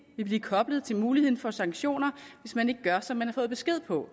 vil blive koblet til muligheden for sanktioner hvis man ikke gør som man har fået besked på